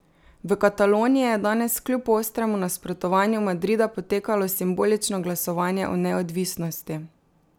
V Kataloniji je danes kljub ostremu nasprotovanju Madrida potekalo simbolično glasovanje o neodvisnosti.